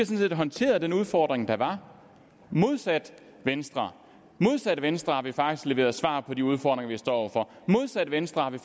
set håndteret den udfordring der var modsat venstre modsat venstre har vi faktisk leveret svar på de udfordringer vi står over for modsat venstre har vi